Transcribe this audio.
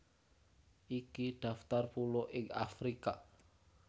Iki daftar pulo ing Afrika